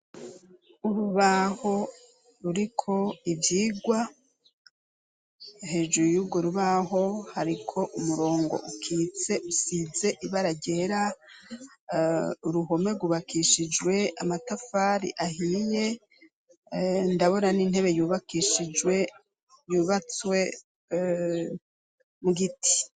Urubaho ruri ko ivyigwa hejuru yugo rubaho hariko umurongo ukitse usize ibara ryera uruhome rubakishijwe amatafari ahiye ndabora n'intebe yubakishijwe ubae tswe mu giti.